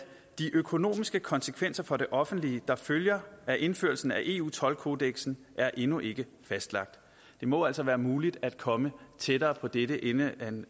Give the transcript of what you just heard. de økonomiske konsekvenser for det offentlige der følger af indførelsen af eu toldkodeksen er endnu ikke fastlagt det må altså være muligt at komme tættere på dette inden